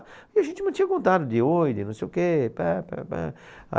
E a gente mantinha contato de oi, de não sei o quê. pá, pá, pá